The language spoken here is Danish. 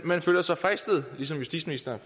man føler sig fristet ligesom justitsministeren